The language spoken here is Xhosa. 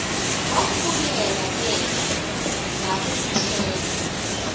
wambulela ke ngakumthemba